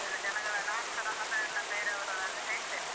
ಎಲ್ಲ ಜನಗಳನ್ನ ನಾನ್ಸ ನನ್ನ friend ನ, ಬೇರೆಯವರನ್ನೆಲ್ಲ ಹೇಳ್ತೇನೆ.